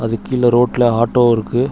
இதுக்கு கீழ ரோட்ல ஆட்டோ இருக்கு.